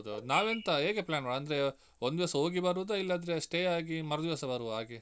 ಹೌದೌದು ನಾವೆಂತ ಹೇಗೆ plan ಮಾಡುದು ಅಂದ್ರೆ ಒಂದಿವಸ ಹೋಗಿ ಬರುದ ಇಲ್ಲಾಂದ್ರೆ stay ಆಗಿ ಮರುದಿವಸ ಬರುವ ಹಾಗೆ.